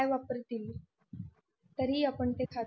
काय वापरतील तरी आपण ते खातो